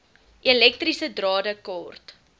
elektriese drade kort